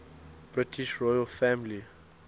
british royal family